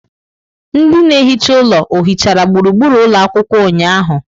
Ndị na-ehicha ụlọ ohichara gburugburu ụlọ akwụkwọ ụnyahụ?